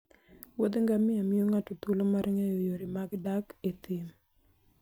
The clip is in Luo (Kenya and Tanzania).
Wuoth ngamia miyo ng'ato thuolo mar ng'eyo yore mag dak e thim.